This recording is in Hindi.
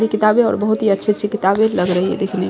ये किताबे और बहुत ही अच्छी-अच्छी किताबे लग रही हैं देखने में।